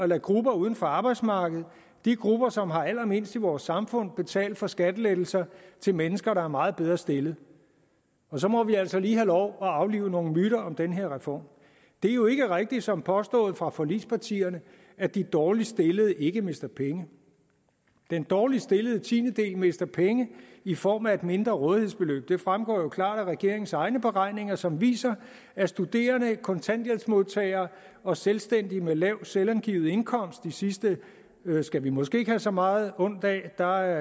lade grupper uden for arbejdsmarkedet de grupper som har allermindst i vores samfund betale for skattelettelser til mennesker der er meget bedre stillet og så må vi altså lige have lov at aflive nogle myter om den her reform det er jo ikke rigtigt som påstået fra forligspartierne at de dårligst stillede ikke mister penge den dårligst stillede tiendedel mister penge i form af et mindre rådighedsbeløb det fremgår jo klart af regeringens egne beregninger som viser at studerende kontanthjælpsmodtagere og selvstændige med lav selvangivet indkomst de sidste skal vi måske ikke have så meget ondt af der